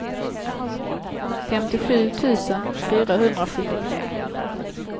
femtiosju tusen fyrahundrasjuttiotre